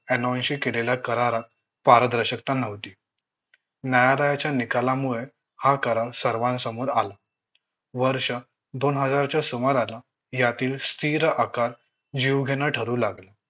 ऍनॉनशी करारात पारदर्शकता नव्हती न्यायालयाच्या निकालामुळे हा करार सर्वांसमोर आला वर्ष दोन हजारच्या सुमाराला यातील स्थिर आकार योग्य न ठरू लागला